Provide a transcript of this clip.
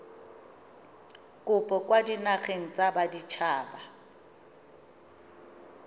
kopo kwa dinageng tsa baditshaba